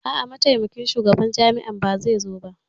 A'a, Mataimakin Shugaban Jami'ar ba zai zo ba.